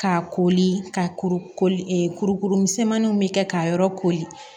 K'a koli ka kurukuru misɛnmaninw bɛ kɛ k'a yɔrɔ kori